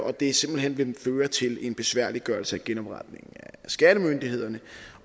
det simpelt hen vil føre til en besværliggørelse af genopretningen af skattemyndighederne